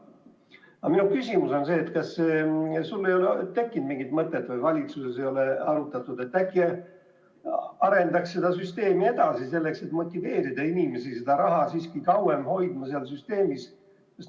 Aga minu küsimus on selline: kas sul ei ole tekkinud mingit mõtet või kas valitsuses ei ole arutatud, et äkki arendaks seda süsteemi edasi nii, et motiveerida inimesi raha siiski kauem selles süsteemis hoidma?